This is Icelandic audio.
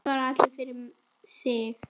Þeir svara allir fyrir sig.